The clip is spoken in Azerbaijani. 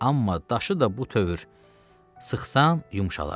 Amma daşı da bu tövr sıxsan yumşalar.